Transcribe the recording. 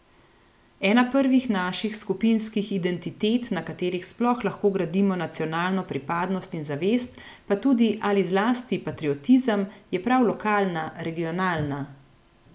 Ena prvih naših skupinskih identitet, na katerih sploh lahko gradimo nacionalno pripadnost in zavest, pa tudi ali zlasti patriotizem, je prav lokalna, regionalna.